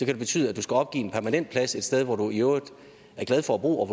det betyde at du skal opgive en permanent plads et sted hvor du i øvrigt er glad for at bo og